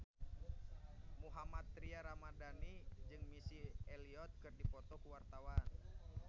Mohammad Tria Ramadhani jeung Missy Elliott keur dipoto ku wartawan